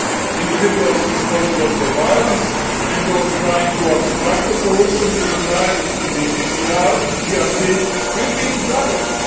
Individuals responsible for violence and those trying to obstruct a solution to the crisis in the DRC will be targeted.